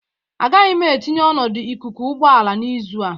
Agaghị m etinye ọnọdụ ikuku ụgbọ ala n'izu a